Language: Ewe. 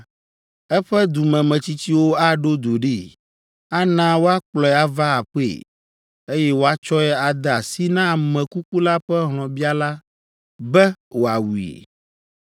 eƒe dumemetsitsiwo aɖo du ɖee, ana woakplɔe ava aƒee, eye woatsɔe ade asi na ame kuku la ƒe hlɔ̃biala be wòawui.